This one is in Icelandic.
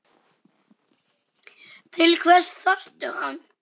Til hvers þarftu hann?